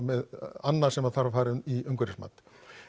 annað sem þarf að fara í umhverfismat